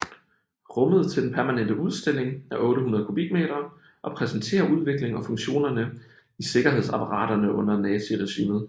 Rummet til den permanente udstilling er 800 kubikmeter og præsenterer udviklingen og funktionerne i sikkerhedsapparaterne under naziregimet